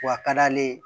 W'a ka d'ale ye